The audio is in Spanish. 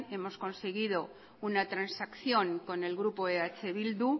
hemos conseguido una transacción con el grupo eh bildu